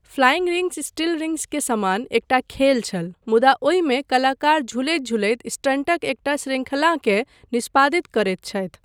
Flying rings still rings के समान एकटा खेल छल मुदा ओहिमे कलाकार झुलैत झुलैत स्टंटक एकटा शृंखलाकेँ निष्पादित करैत छथि।